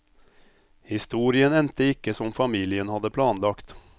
Historien endte ikke som familien hadde planlagt.